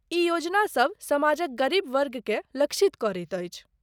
ई योजनासभ समाजक गरीब वर्गकेँ लक्षित करैत अछि।